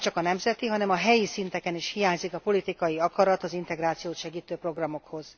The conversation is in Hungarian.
Nemcsak a nemzeti, hanem a helyi szinteken is hiányzik a politikai akarat az integrációt segítő programokhoz.